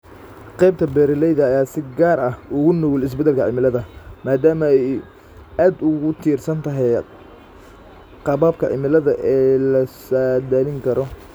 Qaybta beeralayda ayaa si gaar ah ugu nugul isbeddelka cimilada, maadaama ay aad ugu tiirsan tahay qaababka cimilada ee la saadaalin karo.